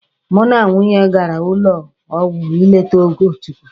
Mụ na nwunye gara ụlọ ọgwụ ịlete Ogochukwu.